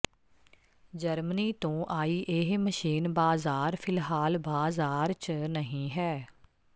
Germany ਤੋ ਆਈ ਇਹ ਮਸ਼ੀਨ ਬਾਜ਼ਾਰ ਫ਼ਿਲਹਾਲ ਬਾਜ਼ਾਰ ਚ ਨਹੀਂ ਹੈ